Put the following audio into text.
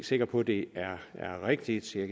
sikker på det er rigtigt jeg